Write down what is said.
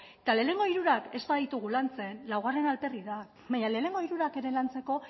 eta lehenengo hirurak ez baditugu lantzen laugarrena alferrik da baina lehenengo hirurak ere lantzeko